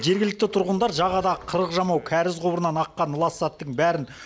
жергілікті тұрғындар жағадағы қырық жамау кәріз құбырынан аққан лас заттың бәрін